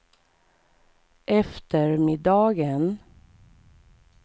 eftermiddagen